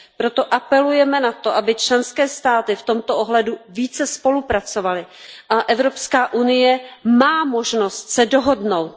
Proto apelujeme na to, aby členské státy v tomto ohledu více spolupracovaly, a Evropská unie má možnost se dohodnout.